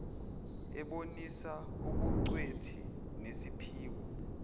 ebonisa ubugcwethi nesiphiwo